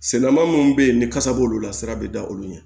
Selama minnu bɛ yen ni kasa b'olu la sira bɛ da olu ɲɛ